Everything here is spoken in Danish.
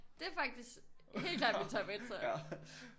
Det er faktisk helt klart min top 1 så